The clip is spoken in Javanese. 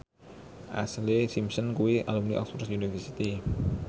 Ashlee Simpson kuwi alumni Oxford university